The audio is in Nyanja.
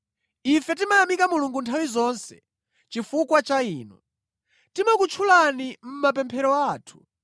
Ife timayamika Mulungu nthawi zonse chifukwa cha inu. Timakutchulani mʼmapemphero athu.